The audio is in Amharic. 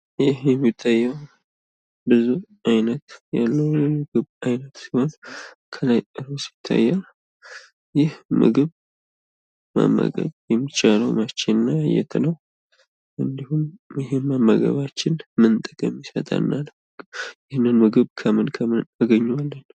ይህ የሚታየው ብዙ አይነት ያለው የምግብ አይነት ሲሆን ከላይ ሩዝ ይታያል። ይህ ምግብ መመገብ የሚቻለው መቼ እና የት ነው? እንድሁም ይህን መመገባችን ምን ጥቅም ይሰጠናል? ይህንን ምግብ ከምን ከምን እናገኘዋለን?